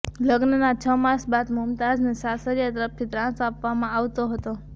લગ્નના છ માસ બાદ મુમતાઝને સાસરિયા તરફથી ત્રાસ આપવામાં આવતો હતો